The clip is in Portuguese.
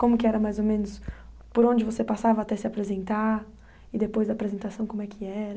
Como que era, mais ou menos, por onde você passava até se apresentar e depois da apresentação como é que era?